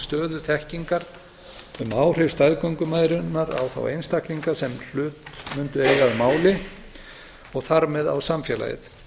stöðu þekkingar um áhrif staðgöngumæðrunar á þá einstaklinga sem hlut mundu eiga að máli og þar með á samfélagið